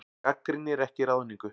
Gagnrýnir ekki ráðningu